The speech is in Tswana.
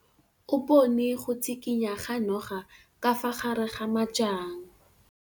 O bone go tshikinya ga noga ka fa gare ga majang.